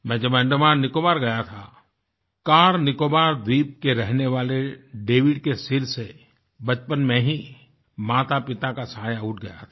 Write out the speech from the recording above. मैं जब अंडमाननिकोबार गया थाकार निकोबार द्वीप के रहने वाले डेविड के सिर से बचपन में ही मातापिता का साया उठ गया था